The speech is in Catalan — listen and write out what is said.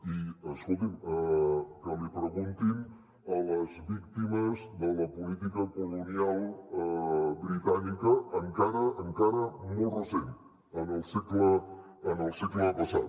i escolti’m que l’hi preguntin a les víctimes de la política colonial britànica encara encara molt recent en el segle passat